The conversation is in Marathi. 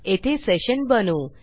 येथे sessionबनवू